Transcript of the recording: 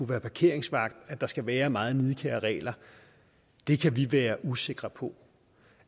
være parkeringsvagt at der skal være meget nidkære regler kan vi være usikre på